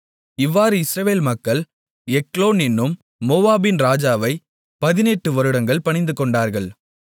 இவ்வாறு இஸ்ரவேல் மக்கள் எக்லோன் என்னும் மோவாபின் ராஜாவைப் பதினெட்டு வருடங்கள் பணிந்துகொண்டார்கள்